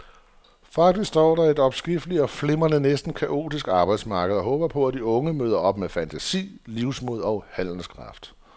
Faktisk står der et omskifteligt og flimrende, næsten kaotisk arbejdsmarked og håber på, at de unge møder op med fantasi, livsmod og handlekraft.